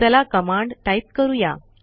चला command type करू या